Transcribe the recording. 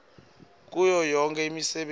kuyo yonkhe imisebenti